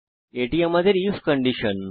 এটি আমাদের if condition